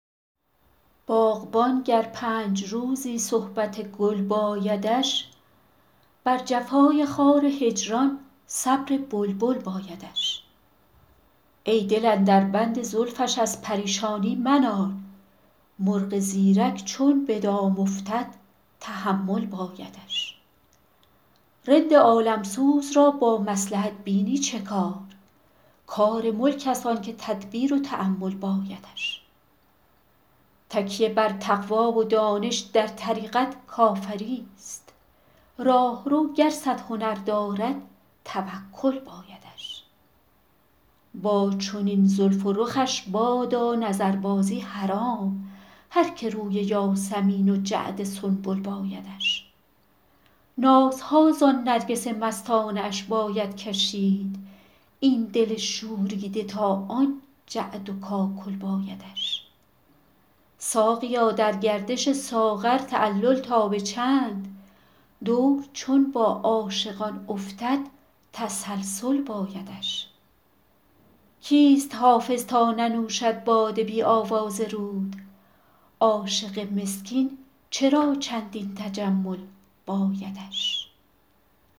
باغبان گر پنج روزی صحبت گل بایدش بر جفای خار هجران صبر بلبل بایدش ای دل اندر بند زلفش از پریشانی منال مرغ زیرک چون به دام افتد تحمل بایدش رند عالم سوز را با مصلحت بینی چه کار کار ملک است آن که تدبیر و تأمل بایدش تکیه بر تقوی و دانش در طریقت کافری ست راهرو گر صد هنر دارد توکل بایدش با چنین زلف و رخش بادا نظربازی حرام هر که روی یاسمین و جعد سنبل بایدش نازها زان نرگس مستانه اش باید کشید این دل شوریده تا آن جعد و کاکل بایدش ساقیا در گردش ساغر تعلل تا به چند دور چون با عاشقان افتد تسلسل بایدش کیست حافظ تا ننوشد باده بی آواز رود عاشق مسکین چرا چندین تجمل بایدش